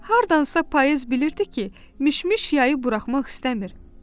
Hardansa payız bilirdi ki, Mişmiş yayı buraxmaq istəmir.